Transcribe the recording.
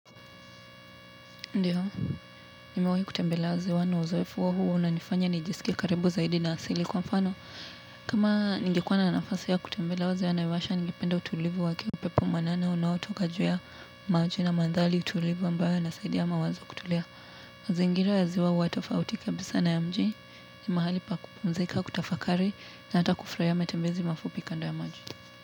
Ndio, nimewahi kutembelea ziwa na uzoefu huo huwa unanifanya nijisikie karibu zaidi na asili. Kwa mfano, kama ningekuwa na nafasi ya kutembelea ziwa naivasha ningependa utulivu wake, upepo mwanana unaotoka juu ya maji na mandhari tulivu ambayo yanasaidia mawazo kutulia. Mazingira ya ziwa huwa tofauti kabisa na ya mji, ni mahali pa kupumzika, kutafakari na hata kufurahia matembezi mafupi kando ya maji.